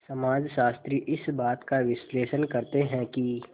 समाजशास्त्री इस बात का विश्लेषण करते हैं कि